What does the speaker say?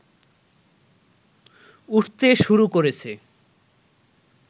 উঠতে শুরু করেছে